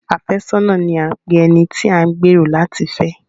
Afẹ́sọ́nà ni à ń pe ẹni tí a ń gbẹ̀rò láti fẹ́.